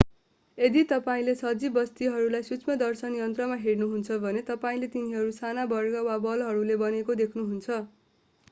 यदि तपाईंले सजीव वस्तुहरूलाई सूक्ष्मदर्शक यन्त्रमा हेर्नुहुन्छ भने तपाईंले तिनीहरू साना वर्ग वा बलहरूले बनेको देख्नुहुन्छ